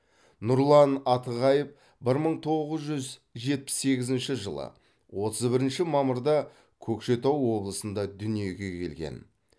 нұрлан атығаев бір мың тоғыз жүз жетпіс сегізінші жылы отыз бірінші мамырда көкшетау облысында дүниеге келген